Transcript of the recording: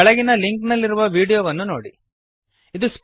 ಕೆಳಗಿನ ಲಿಂಕ್ ನಲ್ಲಿರುವ ವೀಡಿಯೋವನ್ನು ನೋಡಿರಿ